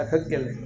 A ka gɛlɛn